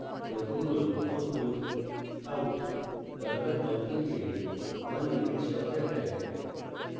লক্ষ্য করুন output out বর্গাকার বন্ধনী 1 ইঙ্গিত সহ দেখায়